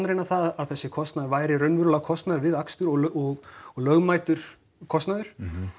að þessi kostnaður væri raunverulega kostnaður við akstur og og lögmætur kostnaður